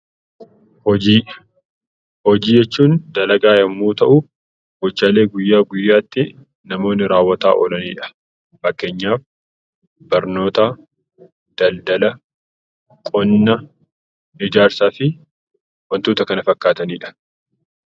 Hojii Hojii jechuun dalagaa yommuu ta'u, gochaalee guyyaa guyyaatti namoonni raawwataa oolani dha. Fakkeenyaaf Barnoota, Daldala, Qonna, Ijaarsaa fi wantoota kana fakkaatani dha.